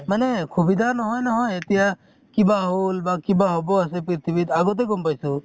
মানে খুবিধা নহয় নহয় । এতিয়া কিবা হʼল বা কিবা হʼব আছে পৃথিৱীত, আগতে গʼম পাইছো